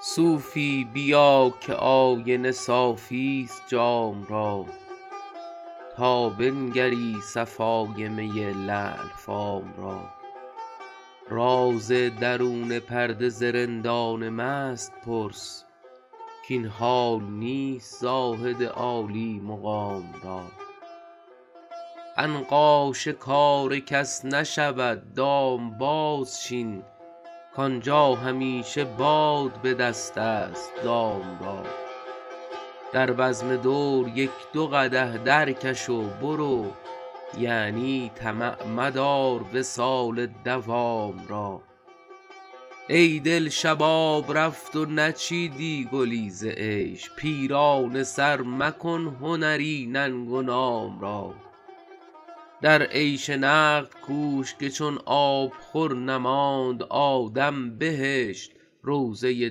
صوفی بیا که آینه صافی ست جام را تا بنگری صفای می لعل فام را راز درون پرده ز رندان مست پرس کاین حال نیست زاهد عالی مقام را عنقا شکار کس نشود دام بازچین کآنجا همیشه باد به دست است دام را در بزم دور یک دو قدح درکش و برو یعنی طمع مدار وصال مدام را ای دل شباب رفت و نچیدی گلی ز عیش پیرانه سر مکن هنری ننگ و نام را در عیش نقد کوش که چون آبخور نماند آدم بهشت روضه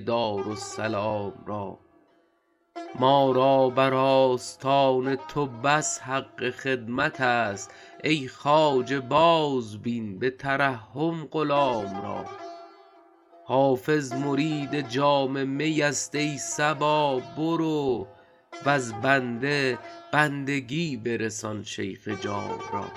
دارالسلام را ما را بر آستان تو بس حق خدمت است ای خواجه بازبین به ترحم غلام را حافظ مرید جام می است ای صبا برو وز بنده بندگی برسان شیخ جام را